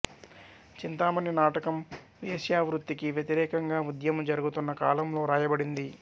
చింతామణి నాటకం వేశ్యావృత్తికి వ్యతిరేకంగా ఉద్యమం జరుగుతున్న కాలంలో రాయబడింది